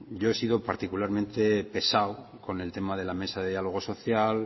yo he sido particularmente pesado con el tema de la mesa de diálogo social